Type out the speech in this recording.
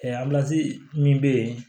min bɛ yen